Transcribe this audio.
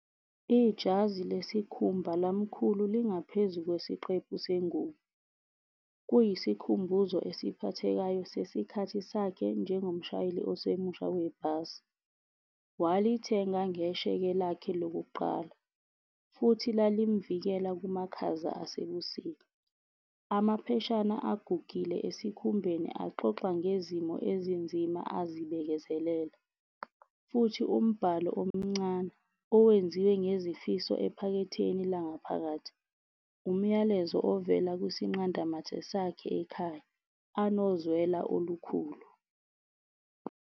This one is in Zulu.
Ijazi lesikhumba lamkhulu lingaphezu kwesiqephu sengubo. Kuyisikhumbuzo esiphathekayo sesikhathi sakhe njengomshayeli osemusha webhasi. Walithenga ngesheke lakhe lokuqala, futhi lalimuvikela kumakhaza asebusika. Amapheshana agugile esikhumbeni axoxa ngezimo ezinzima azibekezelela, futhi umbhalo omncane owenziwe ngezifiso ephaketheni langaphakathi, umyalezo ovela kwisinqanda mathe sakhe ekhaya, anozwela olukhulu.